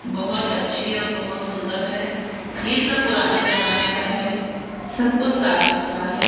बहोत अच्छी और बहोत सुंदर है ये सब पुराने जमाने का है सब कुछ साफ सुथरा है।